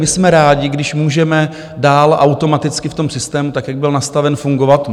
My jsme rádi, když můžeme dál automaticky v tom systému, tak jak byl nastaven, fungovat.